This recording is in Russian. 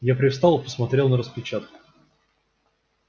я привстал и посмотрел на распечатку